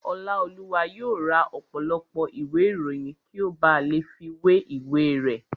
Ọláolúwa yóò ra ọ̀pọ̀lọpọ̀ ìwé ìròyìn kí ó ba lè fi wé ìwé rẹ̀